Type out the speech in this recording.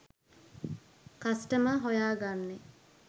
customer හොයා ගන්නේ